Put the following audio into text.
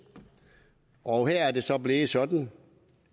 og her er det så blevet sådan